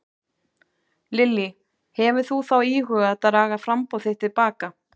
Lillý: Hefur þú þá íhugað að draga framboð þitt til baka?